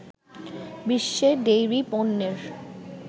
বিশ্বে ডেইরি পণ্যের